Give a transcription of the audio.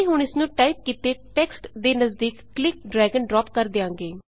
ਅਸੀਂ ਹੁਣ ਇਸਨੂੰ ਟਾਈਪ ਕੀਤੇ ਟੈਕਸਟ ਦੇ ਨਜ਼ਦੀਕ ਕਲਿੱਕ ਡ੍ਰੈਗ ਅਤੇ ਡ੍ਰਾਪ ਕਰ ਦਿਆਂਗੇ